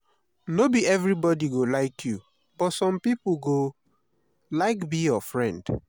no be everybodi go like you but some pipo go like be your friend.